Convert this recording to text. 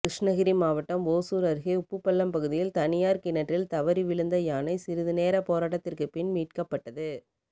கிருஷ்ணகிரி மாவட்டம் ஓசூர் அருகே உப்புப்பள்ளம் பகுதியில் தனியார் கிணற்றில் தவறி விழுந்த யானை சிறிது நேரப்போராட்டத்திற்கு பின் மீட்கப்பட்டது